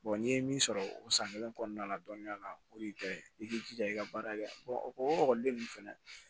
n'i ye min sɔrɔ o san kelen kɔnɔna la dɔɔninya la o de ye i k'i jija i ka baara kɛ o ekɔliden ninnu fɛnɛ